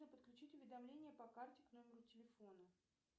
подключить уведомления по карте к номеру телефона